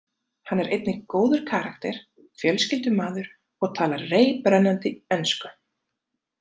Hann er einnig góður karakter, fjölskyldumaður og talar reiprennandi ensku.